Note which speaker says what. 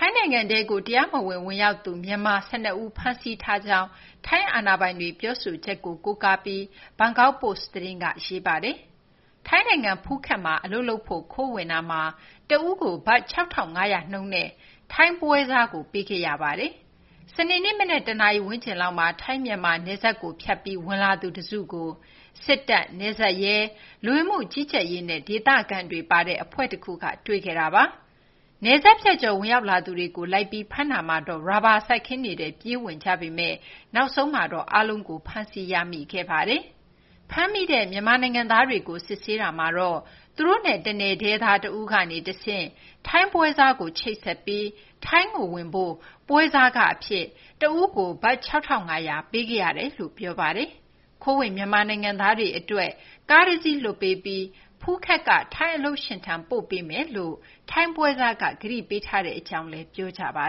Speaker 1: င်းနိုင်ငံထဲကို တရားမဝင် ဝင်ရောက်သူ မြန်မာ ၁၂ ဦးကို ဖမ်းဆီးထားကြောင်း ထိုင်းအာဏာပိုင်တွေ ပြောဆိုချက်ကို ကိုးကားပြီး Bangkok Post သတင်းက ရေးပါတယ်။ ထိုင်းနိုင်ငံ ဖူးခက်မှာ အလုပ်လုပ်ဖို့ ခိုးဝင်တာမှာ တဦးကို ဘတ် ၆,၅၀၀ နှုန်းနဲ့ ထိုင်းပွဲစားတဦးကို ပေးခဲ့ရပါတယ်။ စနေနေ့ မနက် ၁ နာရီ ဝန်းကျင်လောက်မှာ ထိုင်း-မြန်မာ နယ်စပ်ကို ဖြတ်ပြီး ဝင်လာသူတစုကို စစ်တပ်၊ နယ်စပ်ရဲ၊ လူဝင်မှုကြီးကြပ်ရေးနဲ့ ဒေသခံတွေပါတဲ့ အဖွဲ့တခုက တွေ့ခဲ့တာပါ။ နယ်စပ်ဖြတ်ကျော် ဝင်ရောက်လာသူတွေကို လိုက်ပြီး ဖမ်းတာမှာတော့ ရာဘာစိုက်ခင်းတွေထဲကို ဝင်ပြေးကြပေမယ့် နောက်ဆုံးမှာတော့ အားလုံးကို ဖမ်းဆီးရမိခဲ့ပါတယ်။ ဖမ်းမိတဲ့ မြန်မာနိုင်ငံသားတွေကို စစ်ဆေးတာမှာတော့ သူတို့နဲ့ တနယ်တည်းသား တဦးကနေတဆင့် ထိုင်းပွဲစားကို ချိတ်ဆက်ပြီး ထိုင်းကိုဝင်ဖို့ ပွဲစားခအဖြစ် တဦးကို ဘတ် ၆,၅၀၀ ပေးခဲ့ရတယ်လို့ ပြောကြပါတယ်။ ခိုးဝင် မြန်မာနိုင်ငံသားတွေအတွက် ကားတစီးလွှတ်ပေးပြီး ဖူးခက်က ထိုင်းအလုပ်ရှင်ထံ ပို့ပေးမယ်လို့ ထိုင်းပွဲစားက ကတိပေးထားတဲ့အကြောင်းလည်း ပ
Speaker 2: ြောပါ